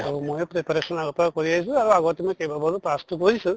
আৰু ময়ো preparation আগৰ পৰা কৰি আছো আৰু আগত মই কেইবাবাৰো pass তো কৰিছো